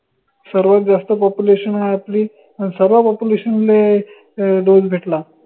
सर्वात जास्त population हाय आपली अन सर्व्या population ले loan भेटला